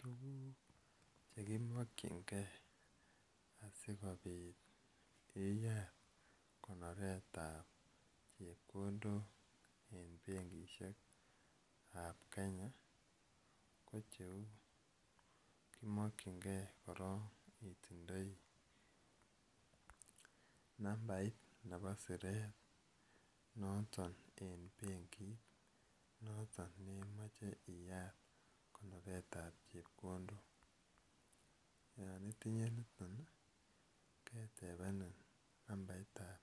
Tuguk che kimakchin gei asikopit iyat konoret ap chepkondok en benkishek ap Kenya ko cheu kimankichingei korok itindai nambait nepo siret noton en benkiit, noton ne imache iyaat konoret ap chepkondok. Yan itinye niton i, ketepenin nambarit ap